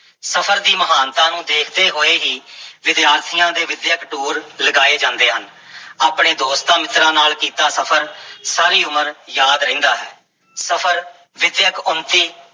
ਸਫਰ ਦੀ ਮਹਾਨਤਾ ਨੂੰ ਦੇਖਦੇ ਹੋਏ ਹੀ ਵਿਦਿਆਰਥੀਆਂ ਦੇ ਵਿੱਦਿਅਕ ਟੂਰ ਲਗਾਏ ਜਾਂਦੇ ਹਨ ਆਪਣੇ ਦੋਸਤਾਂ-ਮਿੱਤਰਾਂ ਨਾਲ ਕੀਤਾ ਸਫ਼ਰ ਸਾਰੀ ਉਮਰ ਯਾਦ ਰਹਿੰਦਾ ਹੈ, ਸਫ਼ਰ ਵਿੱਦਿਅਕ ਉੱਨਤੀ